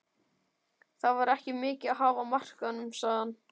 Það var ekki mikið að hafa á markaðnum sagði hann.